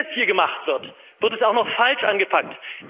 Aber so, wie das hier gemacht wird, wird es auch noch falsch angepackt.